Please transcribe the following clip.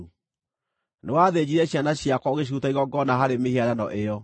Nĩwathĩnjire ciana ciakwa ũgĩciruta igongona harĩ mĩhianano ĩyo.